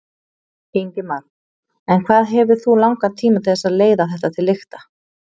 Ingimar: En hvað hefur þú langan tíma til þess að leiða þetta til lykta?